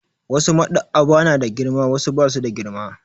Wasu Maɗ'aba'a na da girma wasu ba su da girma.